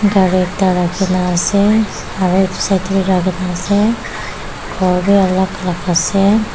gari ekta rakhina ase aro edu la side ase khor bi alak alak ase.